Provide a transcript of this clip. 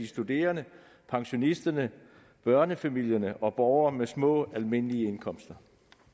studerende pensionister børnefamilier og borgere med små almindelige indkomster